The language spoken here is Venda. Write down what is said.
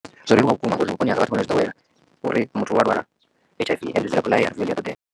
Zwo leluwa vhukuma ngauri vhuponi hanga vhathu vhano zwi ḓowela uri muthu u a lwala H_I_V and a ṱoḓea.